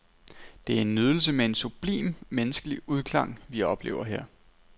Det er en nydelse med en sublim menneskelig udklang, vi oplever her.